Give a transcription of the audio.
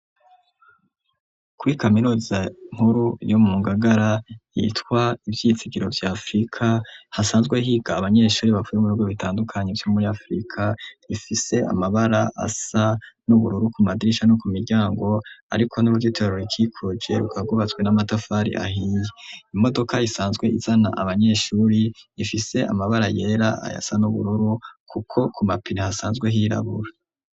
Kuri kaminuza nkuru yo mu ngagara yitwa ivyizigiro vya afrika hasanzwe higa abanyeshuri bavuye mu bigwe bitandukanye vyo muri afrika, ifise amabara asa n'ubururu ku madrisha no ku miryango ariko n'uburyo terorikikoge kagubatswe n'amatafari ahiye, imodoka isanzwe izana abanyeshuri ifise amabara yera ayasa n'ubururu kuko ku mapiri hasanzwe hirabura.